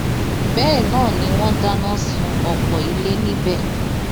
bẹẹ náà ni wọn dáná sun ọpọ ilé níbẹ